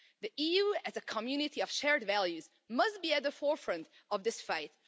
The EU as a community of shared values must be at the forefront of this fight.